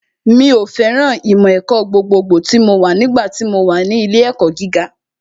Mi ò fẹ́ràn ìmọ̀ ẹ̀kọ́ gbogbogbò tí mo wà nígbà tí mo wà ní ilé ìwé gíga